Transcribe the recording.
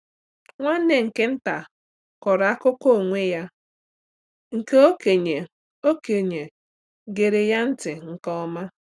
Nwanne nke nta kọrọ akụkọ onwe ya, nke okenye okenye gere ya ntị nke ọma.